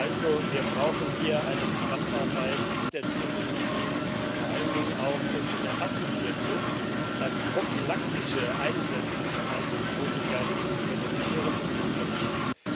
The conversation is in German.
Das heißt, wir brauchen hier eine Zusammenarbeit mit der Tiermedizin, vor allen Dingen auch, um in der Massentierhaltung das profilaktische Einsetzen von Antibiotika zu reduzieren und zu verbieten.